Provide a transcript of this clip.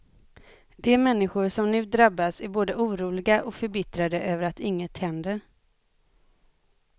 De människor som nu drabbas är både oroliga och förbittrade över att inget händer.